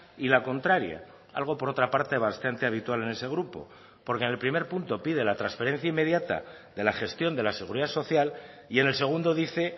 y la contraria algo por otra parte bastante habitual en ese grupo porque en el primer punto pide la transferencia inmediata de la gestión de la seguridad social y en el segundo dice